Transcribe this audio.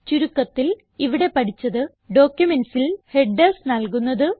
ചുരുക്കത്തിൽ ഇവിടെ പഠിച്ചത് ഡോക്യുമെന്റ്സിൽ ഹെഡർസ് നൽകുന്നത്